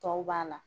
Tɔw b'a la